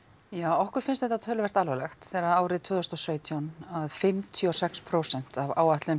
okkur finnst þetta töluvert alvarlegt þegar að árið tvö þúsund og sautján að fimmtíu og sex prósent af áætluðum